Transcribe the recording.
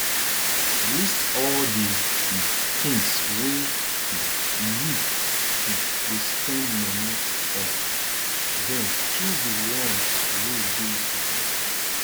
list all di um things wey um you um dey spend money on then choose di ones wey dey important first